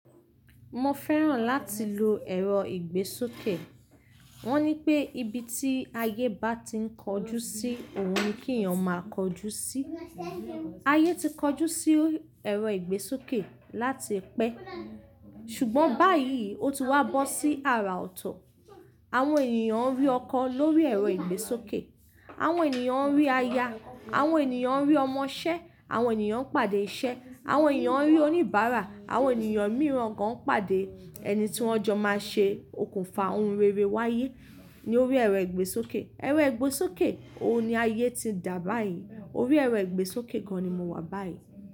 Mo fẹ́ràn láti lo ẹ̀rọ ìgbésókè. Wọ́n ní pé ibi tí ayé bá ti ń kojú sí, òhun ni kí èyàn máa kojú sí. Ayé ti kojú sí ẹ̀rọ ìgbésókè láti pẹ́. Ṣùgbọ́n báyìí, ó ti wá bó sí àrà ọ̀tọ̀. Àwọn ènìyàn rí ọkọ̀ lórí ẹ̀rọ ìgbésókè, àwọn ènìyàn rí aya, àwọn ènìyàn rí ọmọṣẹ́, àwọn ènìyàn ń pàdé iṣẹ́, àwọn ènìyàn rí oníbàárà, àwọn ènìyàn mìíràn kan ń pàdé ẹni tí wọ́n jọ máa ṣe okùnfà ohun rere wáyé ní orí ẹ̀rọ ìgbésókè. Ẹ̀rọ ìgbésókè, òhun ni ayé ti dà báyìí. Orí ẹ̀rọ ìgbésókè gan ni mo wà báyìí.